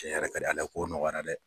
Cɛn yɛrɛ ka di Ala ye kow nɔgɔyara dɛ.